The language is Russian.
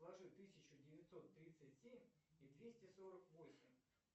сложить тысячу девятьсот тридцать семь и двести сорок восемь